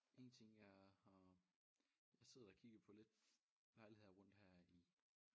En ting jeg har jeg sidder og kigger på lidt lejligheder rundt her i